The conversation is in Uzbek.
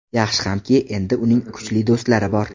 Yaxshi hamki, endi uning kuchli do‘stlari bor.